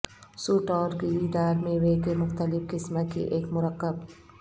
suit اور گری دار میوے کے مختلف قسم کی ایک مرکب